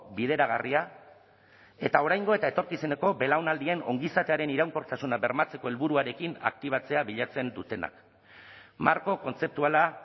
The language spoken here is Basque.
bideragarria eta oraingo eta etorkizuneko belaunaldien ongizatearen iraunkortasuna bermatzeko helburuarekin aktibatzea bilatzen dutenak marko kontzeptuala